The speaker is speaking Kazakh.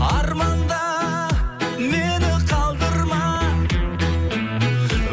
арманда мені қалдырма